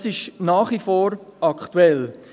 Dies ist nach wie vor aktuell.